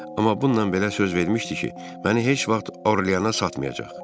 Amma bununla belə söz vermişdi ki, məni heç vaxt Orlyana satmayacaq.